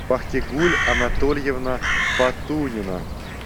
бахтигуль анатольевна патунина